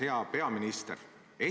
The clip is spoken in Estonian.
Hea peaminister!